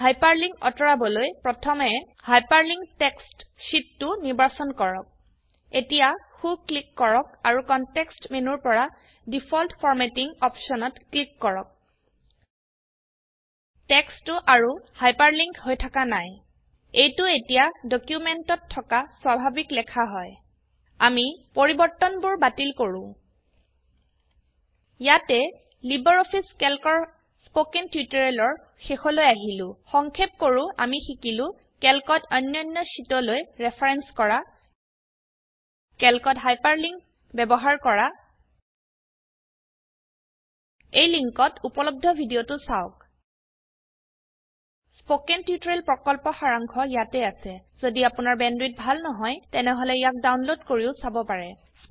hyperlink অতৰাবলৈ প্ৰথমে hyperlink text sheet 2 নিৰ্বাচন কৰক এতিয়া সো ক্লিক কৰক আৰু কনটেক্সট মেনুৰ পৰা ডিফল্ট ফৰমেটিং অপশনত ক্লিক কৰক টেক্সটো আৰু হাইপাৰলিঙ্ক হৈ থকা নাই এইটো এতিয়া ডকিউমেন্টত থকা স্বাভাবিক লেখা হয় আমি পৰিবৰ্তনবোৰ বাতিল কৰো ইয়াতে লাইব্ৰঅফিছ ক্যালকৰ স্পকেন টিউটোৰিয়েলৰ শেষলৈ আহিলো সংক্ষেপ কৰো আমি শিকিলো ক্যালকত অন্যান্য শীটলৈ ৰেফাৰেন্স কৰা ক্যালকত হাইপাৰলিঙ্ক ব্যবহাৰ কৰা এই লিঙ্কত উপলব্ধ ভিডিওটো চাওক স্পকেন টিউটোৰিয়েল প্ৰকল্পৰ সাৰাংশ ইয়াত আছে যদি আপোনাৰ বেণ্ডৱিডথ ভাল নহয় তেনেহলে ইয়াক ডাউনলোড কৰি চাব পাৰে